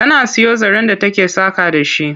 Tana siyo zaren da take saƙa da shi.